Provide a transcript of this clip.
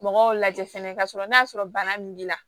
Mɔgɔw lajɛ fɛnɛ kasɔrɔ n'a y'a sɔrɔ bana min b'i la